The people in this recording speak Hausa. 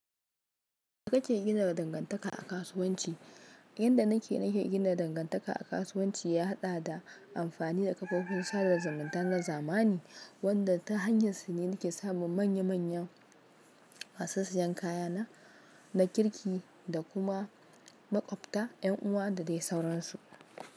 Yadda kake gina dangantaka a kasuwanci? Yanda nake nake gina dangantaka a kasuwanci ya haɗa da amfani da kafofin sadar zamanta na zamani, wadda ta hanyarsu ne nake samun manya manyan masu sayen kaya na da kirki da kuma makwabta ‘yan uwa da dai sauransu.